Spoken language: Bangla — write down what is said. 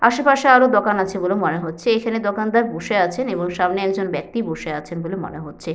আশেপাশে আরো দোকান আছে বলে মনে হচ্ছে। এইখানে দোকানদার বসে আছেন এবং সামনে একজন ব্যক্তি বসে আছেন বলে মনে হচ্ছে।